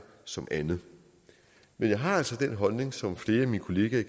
som andet men jeg har altså den holdning som flere af mine kollegaer